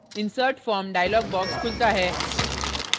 insert form dialog box खुलता है